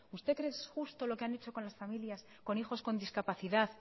usted cree que es justo lo que han hecho con las familias con hijos con discapacidad